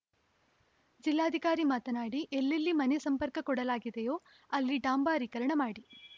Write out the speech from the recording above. ಜಿಲ್ಲಾಧಿಕಾರಿ ಮಾತನಾಡಿ ಎಲ್ಲೆಲ್ಲಿ ಮನೆ ಸಂಪರ್ಕ ಕೊಡಲಾಗಿದೆಯೋ ಅಲ್ಲಿ ಡಾಂಬಾರೀಕರಣ ಮಾಡಿ